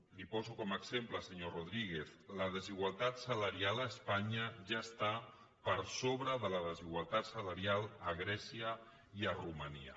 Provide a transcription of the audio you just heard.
li ho poso com a exemple senyor rodríguez la desigualtat salarial a espanya ja està per sobre de la desigualtat salarial a grècia i a romania